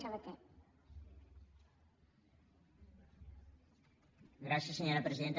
gràcies senyora presidenta